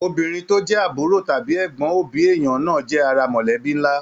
Obìnrin tó jẹ àbúrò tàbí ẹgbọn òbí èèyàn náà jẹ́ ara mọ̀lẹ́bí nlá.